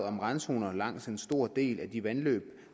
om randzoner langs en stor del af de vandløb